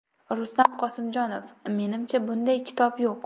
Rustam Qosimjonov: Menimcha, bunday kitob yo‘q.